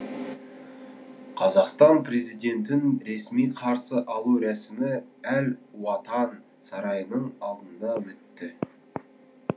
қазақстан президентін ресми қарсы алу рәсімі әл уатан сарайының алдында өтті